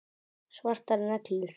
Svartar neglur.